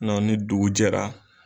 ni dugu jɛra